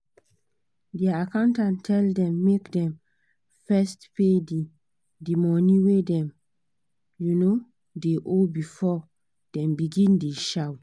their accountant tell them make dem first pay the the money wey dem um dey owe before dem begin dey shout